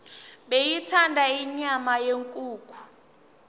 beyithanda inyama yenkukhu